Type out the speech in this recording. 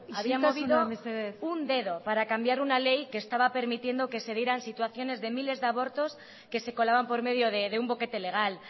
isiltasuna mesedez había movido un dedo para cambiar una ley que estaba permitiendo que se dieran situaciones de miles de abortos que se colaban por medio de un boquete lega